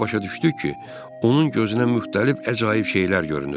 Belə başa düşdük ki, onun gözünə müxtəlif əcaib şeylər görünür.